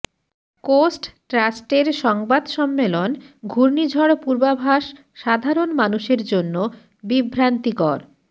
coast ট্রাস্টের সংবাদ সম্মেলন ঘূর্ণিঝড় পূর্বাভাস সাধারণ মানুষের জন্য বিভ্রান্তিকর